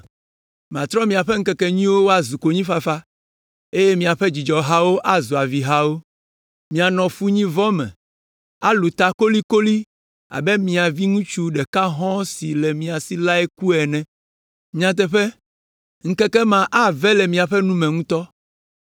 Matrɔ miaƒe ŋkekenyuiwo woazu konyifafa, eye miaƒe dzidzɔhawo azu avihawo. Mianɔ funyivɔ me, alũ ta kolikoli abe mia viŋutsu ɖeka hɔ̃ɔ si le mia si lae ku ene. Nyateƒe, ŋkeke ma ave le miaƒe nu me ŋutɔ.”